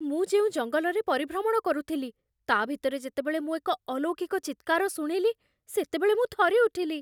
ମୁଁ ଯେଉଁ ଜଙ୍ଗଲରେ ପରିଭ୍ରମଣ କରୁଥିଲି, ତା' ଭିତରେ ଯେତେବେଳେ ମୁଁ ଏକ ଅଲୌକିକ ଚିତ୍କାର ଶୁଣିଲି ସେତେବେଳେ ମୁଁ ଥରିଉଠିଲି।